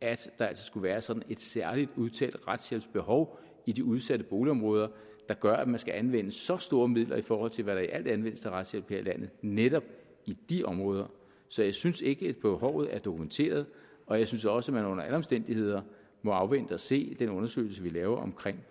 at der altså skulle være sådan et særlig udtalt retshjælpsbehov i de udsatte boligområder der gør at man skal anvende så store midler i forhold til hvad der i alt anvendes til retshjælp her i landet netop i de områder så jeg synes ikke at behovet er dokumenteret og jeg synes også at man under alle omstændigheder må afvente at se den undersøgelse vi laver om